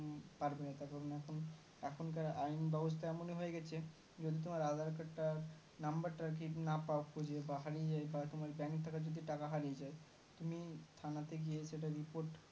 পারবে না তার কারন এখনকার আইন ব্যবস্থা কেমনই হয়ে গেছে যদি তোমার aadhar card টা number টা আরকি না পাও খুঁজে বা হারিয়ে যাই বা তোমার bank থেকে যদি টাকা হারিয়ে যাই তুমি থানাতে গিয়ে যেটা report